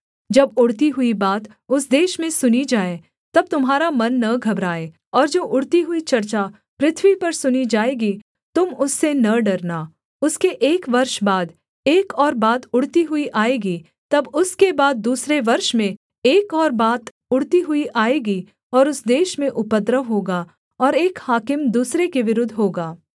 जब उड़ती हुई बात उस देश में सुनी जाए तब तुम्हारा मन न घबराए और जो उड़ती हुई चर्चा पृथ्वी पर सुनी जाएगी तुम उससे न डरना उसके एक वर्ष बाद एक और बात उड़ती हुई आएगी तब उसके बाद दूसरे वर्ष में एक और बात उड़ती हुई आएगी और उस देश में उपद्रव होगा और एक हाकिम दूसरे के विरुद्ध होगा